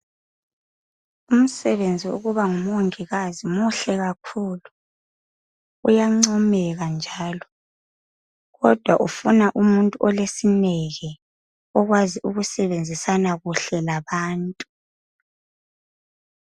Umsebenzi okuba ngu mongikazi muhle kakhulu uyancomeka njalo kodwa ufuna umuntu olesineke okwazi ukusebenzisana kuhle labantu.